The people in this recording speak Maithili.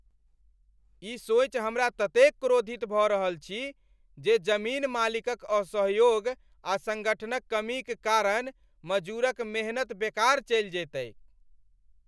ई सोचि हमरा ततेक क्रोधित भऽ रहल छी जे जमीन मालिकक असहयोग आ सङ्गठनक कमीक कारण मजूरक मेहनत बेकार चलि जयतैक।